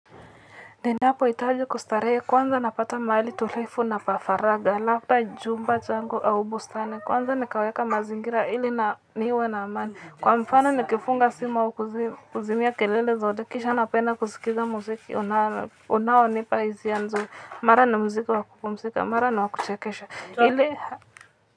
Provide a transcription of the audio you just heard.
Ninapohitaji kustarehe kwanza napata mahali tulivu na pa faragha, labda chumba changu, au bustani kwanza nikaweka mazingira ili na niwe na amani. Kwa mfano nikifunga simu au kuzimia kelele zote kisha napenda kusikiliza muziki, unaonipa hisia nzuri, mara ni muziki wa kupumzika, mara ni wa kuchekesha.